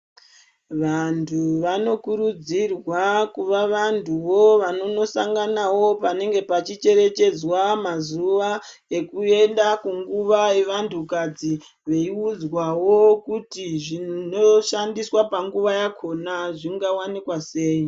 Vantu vano kurudzirwa kuvavantu wo vono nosangana wo panenge pachi cherechedzwa mazuwa ekuenda kunguwa yevantu kadzi veiudzwawo zvinoshandiswa panguwa yakona zvingawanikwa sei.